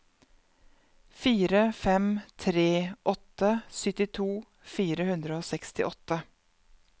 fire fem tre åtte syttito fire hundre og sekstiåtte